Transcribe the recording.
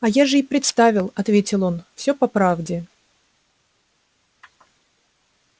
а я же и представил ответил он всё по правде